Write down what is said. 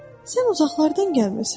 Sən uzaqlardan gəlmirsən?